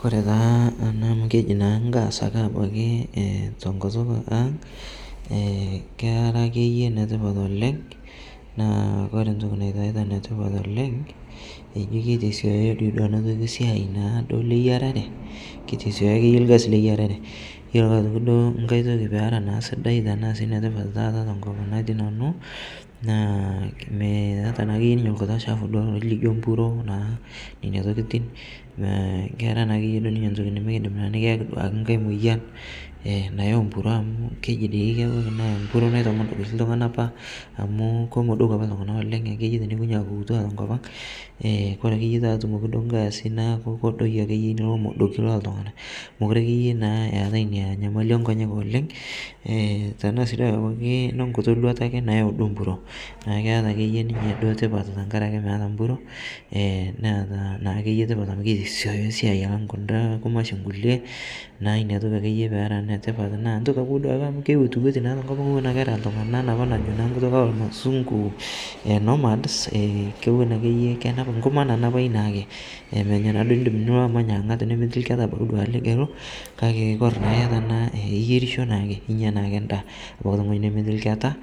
Kore taa anaa amu kejii naa ngaas ake abaki tenkutuk ang' ekeraa akeye netipat oleng' naa kore ntoki naitaita netipat naa kore ntoki naitaitaa netipat oleng' eijoo keitesioyo dei duo ana toki siai leyararee keitesioyo akeye lkazi leyararee iyolo ake otoki ng'ai tokii peera naa sidai tanaa sii netipat taata tenkop nanuu naa meata akeye ninye lkutii chapuu duo lolijoo mpuroo nenia tokitin. Kera naakeye duo ntoki nimikindim ayaki duake ng'ai moyan enayau mpuroo amu keji dei kebaki naa mpuroo naitomodok shii ltung'ana apa amu komodoku apa ltung'ana oleng' akeye teneikonyi aeku kutua tenkopang' kore akeye taa etumuki duo ng'aasi naaku kodoyoo akeye lomodokii leltung'ana mokure akeye naa eatai inia nyamali enkonyek oleng' , tanaa sii duo abaki lenkitii luata akee nayau duo mpuroo naa keata akeye ninye tipat tankarakee meata mpuroo enaata naakeye tipat amu keitesioyo siai alang' kundaa kumashin kulie naaku inia tokii akeye peera netipat naa intuk abaki duake amu keiwotiwotii naa tenkopang' ewon eraa ltung'ana najo naa najo nkutuk elmasung'u nomads kewon akeye kenap nkumaa nanapai naake emenya naaduo indim iloo amany ang'at nemeti lketaa abaki ligiluu kakee kore naa iata anaa iyerishoo naake inya naake ndaa ooteng'oji nemeti lketaa